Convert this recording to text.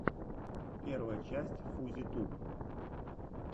первая часть фузи туб